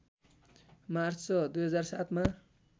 March २००७ मा